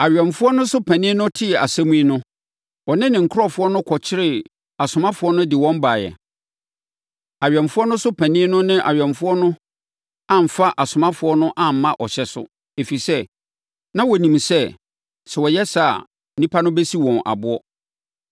Awɛmfoɔ no so panin no tee asɛm yi no, ɔne ne nkurɔfoɔ no kɔkyeree asomafoɔ no de wɔn baeɛ. Awɛmfoɔ no so panin no ne awɛmfoɔ no amfa asomafoɔ no amma ɔhyɛ so, ɛfiri sɛ, na wɔnim sɛ, sɛ wɔyɛ saa a, nnipa no bɛsi wɔn aboɔ.